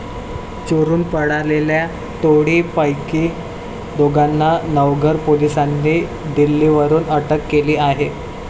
चोरुन पळालेल्या टोळी पैकी दोघांना नवघर पोलीसांनी दिल्ली वरुन अटक केली आहे.